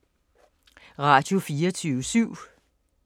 Radio24syv